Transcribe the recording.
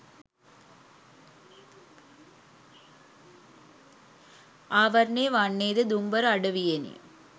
ආවරණය වන්නේ ද දුම්බර අඩවියෙනි